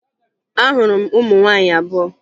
Ahụrụ m ụmụ nwaanyị abụọ